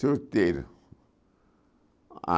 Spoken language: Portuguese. Solteiro. Ah